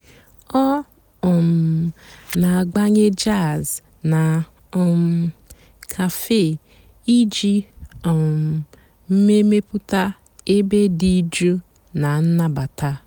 ọ́ um nà-àgbànyé jàzz nà um càfé ìjì um mèmèpụ́tá èbé dị́ jụ́ụ́ nà ǹnàbátá.